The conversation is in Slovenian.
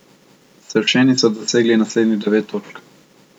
Sršeni so dosegli naslednjih devet točk.